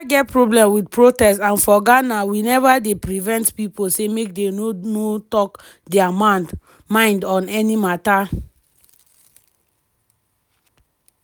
i neva get problem wit protests and for ghana we neva dey prevent pipo say make dey no no talk dia mind on any mata.”